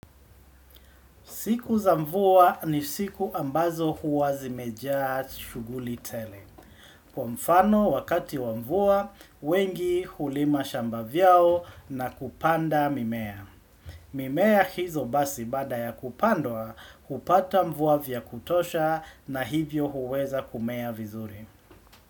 Siku za mvua ni siku ambazo huwa zimejaa shughuli tele. Kwa mfano wakati wa mvua, wengi hulima shamba vyao na kupanda mimea. Mimea hizo basi bada ya kupandwa, upata mvua vya kutosha na hivyo huweza kumea vizuri.